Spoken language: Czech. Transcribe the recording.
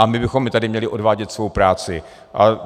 A my bychom i tady měli odvádět svou práci.